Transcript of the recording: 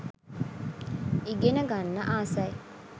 ඉගෙන ගන්න ආසයි.